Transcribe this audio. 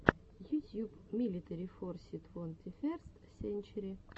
ютьюб милитари форсис твонтиферст сенчери